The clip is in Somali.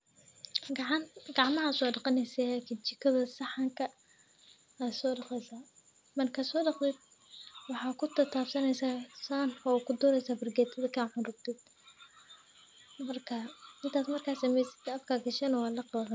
Gacmaha so daqaneysaah kajikada saxanka aa so daqeysaah, marka sodaqatid waxaa kutatabsaneysaah saxanka oo kududuweysaah fargetada marka cun rabtid markas sa mesatid afka gashani wa laqi.